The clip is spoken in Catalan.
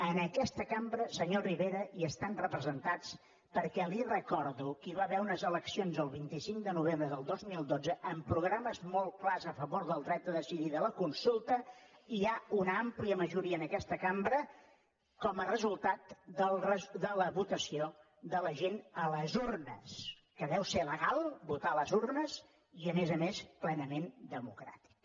en aquesta cambra senyor rivera hi estan representats perquè li recordo que hi va haver unes eleccions el vint cinc de novembre del dos mil dotze amb programes molts clars a favor del dret a decidir de la consulta i hi ha una àmplia majoria en aquesta cambra com a resultat de la votació de la gent a les urnes que deu ser legal votar a les urnes i a més a més plenament democràtic